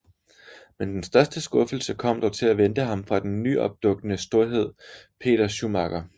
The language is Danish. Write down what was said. Men den største skuffelse kom dog til at vente ham fra den nyopdukkende storhed Peder Schumacher